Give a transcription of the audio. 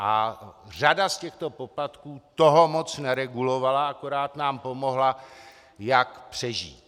A řada z těchto poplatků toho moc neregulovala, akorát nám pomohla, jak přežít.